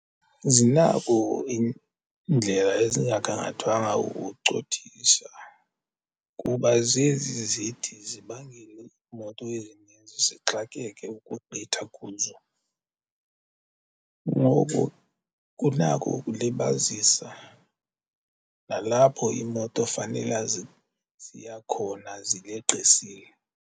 Zinako iindlela ezingagangathwanga ukucothisa kuba zezi zithi zibangele iimoto ezininzi zixakeke ukugqitha kuzo. Ngoku kunako ukulibazisa nalapho iimoto fanela ziya khona zileqisile.